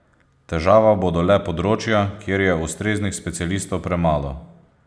Težava bodo le področja, kjer je ustreznih specialistov premalo.